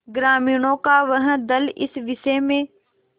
ग्रामीणों का वह दल इस विषय में